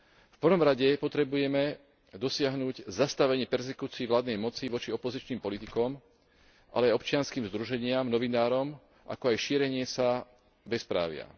V prvom rade potrebujeme dosiahnuť zastavenie perzekúcií vládnej moci voči opozičným politikom, ale aj občianskym združeniam, novinárom, ako aj šírenia sa bezprávia.